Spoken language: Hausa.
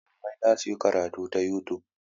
Malamai za su yi karatu ta youtube.